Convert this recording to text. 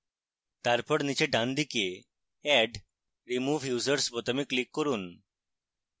তারপর নীচে ডানদিকে add/remove users বোতামে click করুন